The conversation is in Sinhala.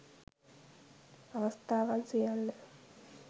අවස්ථාවන් සියල්ල